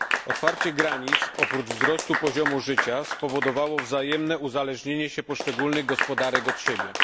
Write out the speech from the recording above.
Otwarcie granic oprócz wzrostu poziomu życia spowodowało wzajemne uzależnienie się poszczególnych gospodarek od siebie.